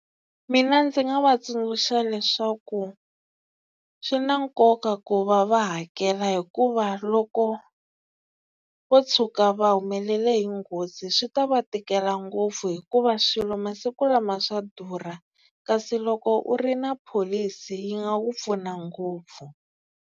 Mina ndzi nga va tsundzuxa leswaku swi na nkoka ku va va hakela hikuva loko wo tshuka va humelele hi nghozi swi ta va tikela ngopfu hikuva swilo masiku lama swa durha kasi loko u ri na pholisi yi nga ku pfuna ngopfu.